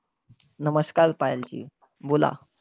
नमस्कार पायलजी, बोला.